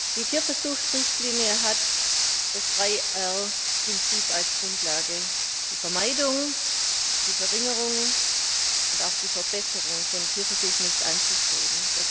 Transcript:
Die Tierversuchsrichtlinie hat das 3R Prinzip als Grundlage Die Vermeidung, die Verringerung und auch die Verbesserung von Tierversuchen ist anzustreben.